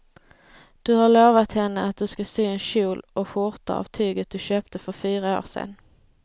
Du har lovat henne att du ska sy en kjol och skjorta av tyget du köpte för fyra år sedan.